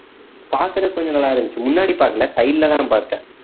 பார்க்குறதுக்கு கொஞ்சம் நல்லா இருந்துச்சு முன்னாடி பார்க்கல side லதான் பார்த்தேன்